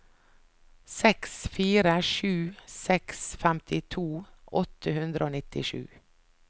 seks fire sju seks femtito åtte hundre og nittisju